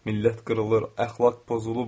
Millət qırılır, əxlaq pozulub.